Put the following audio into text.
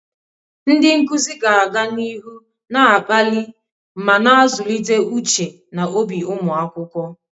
Ndị nkuzi ga-aga n'ihu na-akpali ma na-azụlite uche na obi ụmụ akwụkwọ.